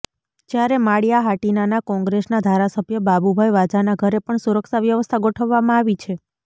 જ્યારે માળિયા હાટિનાના કોંગ્રેસના ધારાસભ્ય બાબુભાઈ વાજાના ઘરે પણ સુરક્ષા વ્યવસ્થા ગોઠવવામાં આવી છે